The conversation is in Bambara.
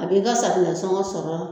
A b'i ka safunɛ sɔngɔ sɔrɔ